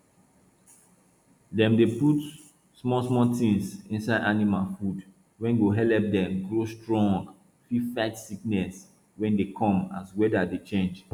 dem dey put smallsmall tins inside animal food wey go helep dem grow strong fit fight sickness wey dey come as weather dey change